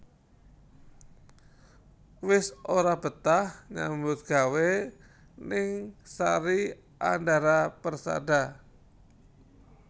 Wis ora betah nyambut gawe ning Sari Andara Persada